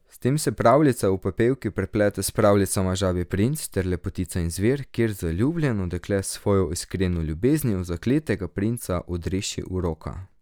S tem se pravljica o Pepelki preplete s pravljicama Žabji princ ter Lepotica in zver, kjer zaljubljeno dekle s svojo iskreno ljubeznijo zakletega princa odreši uroka.